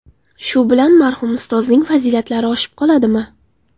Shu bilan marhum Ustozning fazilatlari oshib qoladimi?